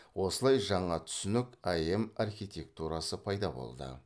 осылай жаңа түсінік эем архитектурасы пайда болды